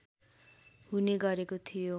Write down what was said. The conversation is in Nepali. हुने गरेको थियो